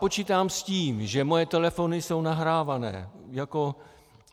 Počítám s tím, že moje telefony jsou nahrávány.